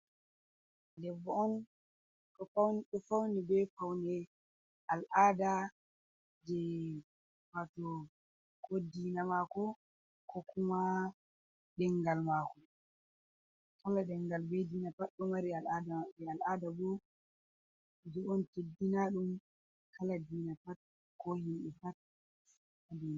Debbo on ɗo fawni bee fawne al'aada jey waato koo diina maako, koo kuma ɗemngal maako. Kala ɗemngal fuuh bee diina pat ɗo mari al'aada, boo kuje on cenndina ɗum kala diina pat, koo himɓe pat, haa biya.